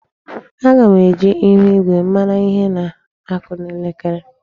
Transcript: Aga m eji ihuigwe mara ihe na-akụ n'elekere.